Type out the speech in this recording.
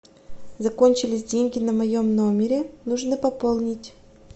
закончились деньги на моем номере нужно пополнить